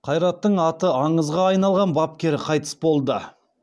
қайраттың аты аңызға айналған бапкері қайтыс болды